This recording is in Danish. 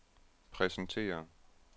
præsenterer